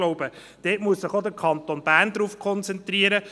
Darauf muss sich auch der Kanton Bern konzentrieren.